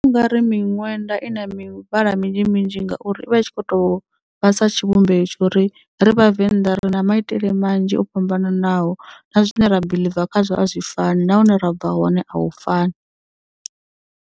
Ndi vhona ungauri miṅwenda i na mivhala minzhi minzhi ngauri ivha i tshi kho to vhasa tshivhumbeo tshori ri vhavenḓa ri na maitele manzhi o fhambananaho na zwine ra biḽiva khazwo a zwi fani na hune ra bva hone a hu fani.